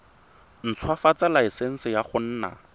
ntshwafatsa laesense ya go nna